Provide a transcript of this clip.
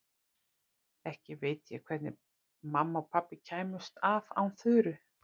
Ekki veit ég hvernig mamma og pabbi kæmust af án Þuru.